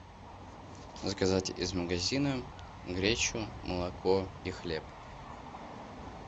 заказать из магазина гречу молоко и хлеб